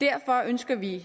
derfor ønsker vi